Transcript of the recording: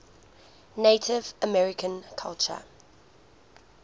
native american culture